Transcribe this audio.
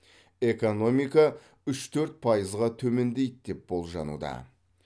экономика үш төрт пайызға төмендейді деп болжануда